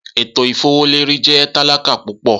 Eto ifowoleri jẹ talaka pupọ.